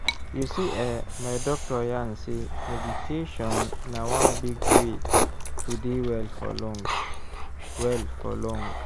you see eh my doctor yarn sey meditation na one big way to dey well for long. well for long.